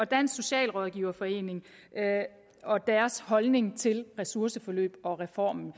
dansk socialrådgiverforening og deres holdning til ressourceforløbet og reformen